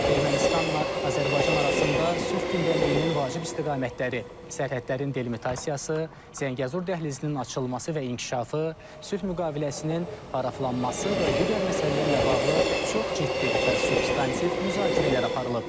Ermənistanla Azərbaycan arasında sülh gündəliyinin vacib istiqamətləri, sərhədlərin delimitasiyası, Zəngəzur dəhlizinin açılması və inkişafı, sülh müqaviləsinin paraflanması və digər məsələlərlə bağlı çox ciddi və substantiv müzakirələr aparılıb.